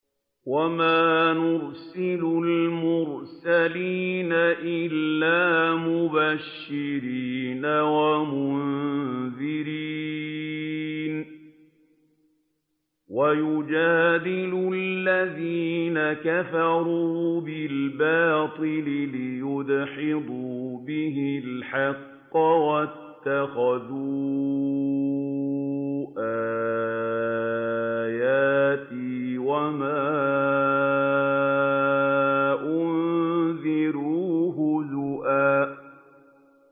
وَمَا نُرْسِلُ الْمُرْسَلِينَ إِلَّا مُبَشِّرِينَ وَمُنذِرِينَ ۚ وَيُجَادِلُ الَّذِينَ كَفَرُوا بِالْبَاطِلِ لِيُدْحِضُوا بِهِ الْحَقَّ ۖ وَاتَّخَذُوا آيَاتِي وَمَا أُنذِرُوا هُزُوًا